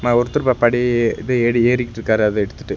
அ ஒருத்தர் ப படி இது எறி ஏறிகிட்ருக்காரு அத எடுத்துட்டு.